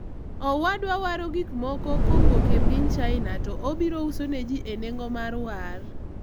owadwa waro gikmoko kowuok e piny China to obiro uso neji e nengo mar war